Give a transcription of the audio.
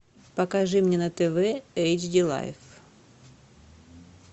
покажи мне на тв эйч ди лайф